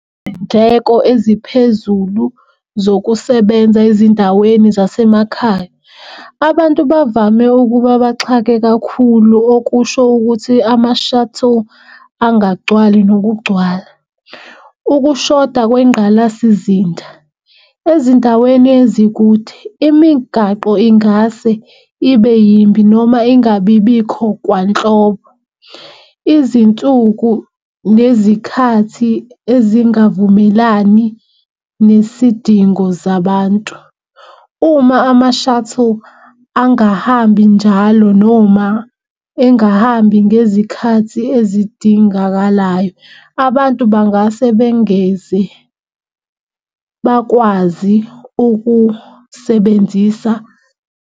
Iy'ndleko eziphezulu zokusebenza ezindaweni zasemakhaya. Abantu bavame ukuba baxhake kakhulu okusho ukuthi ama-shuttle angagcwali nokugcwala. Ukushoda kwengqalasizinda ezindaweni ezikude imigaqo ingase ibe yimbi noma ingabibikho kwanhlobo. Izinsuku nezikhathi ezingavumelani nesidingo zabantu. Uma ama-shuttle angahambi njalo noma engahambi ngezikhathi ezidingakalayo abantu bangase bengezi bakwazi ukusebenzisa.